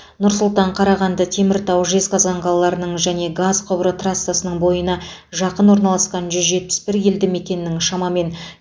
нұр сұлтан қарағанды теміртау жезқазған қалаларының және газ құбыры трассасының бойына жақын орналасқан жүз жиырма бір елді мекеннің шамамен